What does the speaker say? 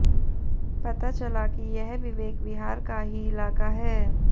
पता चला कि यह विवेक विहार का ही इलाका है